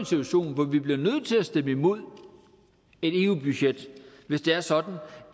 situation hvor vi bliver nødt til at stemme imod et eu budget hvis det er sådan